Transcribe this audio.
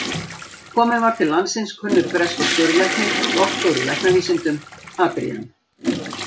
Kominn var til landsins kunnur breskur skurðlæknir og doktor í læknavísindum, Adrian